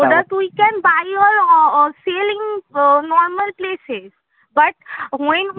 ওটা তুই can buy or selling normal place এ but when